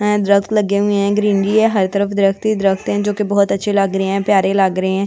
दरख्त लगे हुए हैं ग्रीनरी है हर तरफ दरख्त ही दरख्त हैं जो कि बहुत अच्छे लग रहे हैं प्यारे लग रहे हैं।